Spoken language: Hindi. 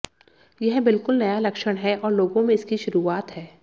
यह बिल्कुल नया लक्षण है और लोगों में इसकी शुरुआत है